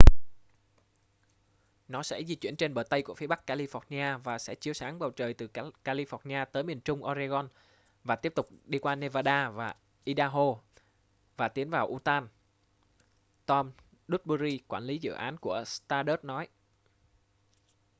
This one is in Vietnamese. nó sẽ di chuyển trên bờ tây của phía bắc california và sẽ chiếu sáng bầu trời từ california tới miền trung oregon và tiếp tục đi qua nevada và idaho và tiến vào utah tom duxbury quản lý dự án của stardust nói